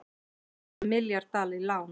Báðu um milljarð dala í lán